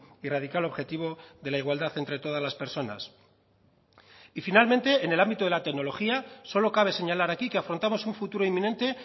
y radical objetivo de la igualdad entre todas las personas y finalmente en el ámbito de la tecnología solo cabe señalar aquí que afrontamos un futuro inminente